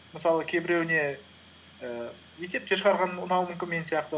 мысалы кейбіреуіне і есептер шығарған ұнауы мүмкін мен сияқты